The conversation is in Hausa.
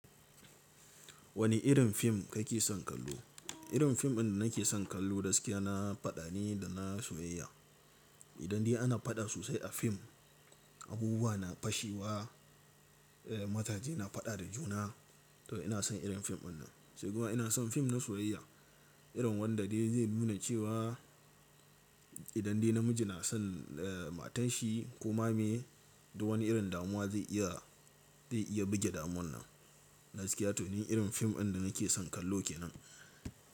Wani irin fim ka ke son kallo? Irin fim ɗin da na ke son kallo gaskiya na faɗa ne da na soyayya. Idan dai ana faɗa sosai a fim, abubuwa na fashewa, eh mazaje na faɗa da juna to ina son irin fim ɗin nan. Sai kuma ina son fim na soyayya, irin wanda dai zai nuna cewa idan dai na miji na son eh matan shi kuma mai, duk wani irin damuwa zai iya, zai iya buge damuwan nan. Gaskiya to ni irin fim ɗin da na ke son kallo ke nan.